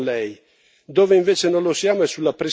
dove invece non lo siamo è sulla prescrizione.